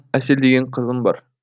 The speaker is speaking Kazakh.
әсел деген қызым бар